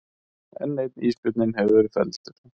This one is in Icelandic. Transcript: Enn einn ísbjörninn hefur verið felldur